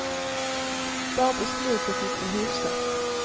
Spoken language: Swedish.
Bara på slutet gick det hyfsat.